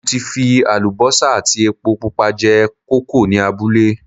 Mo ti fi àlùbọ́sà àti epo pupa jẹ kókò ní abúlé